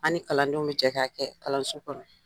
An ni kalandenw bɛ jɛ k'a kɛ kalanso kɔnɔ.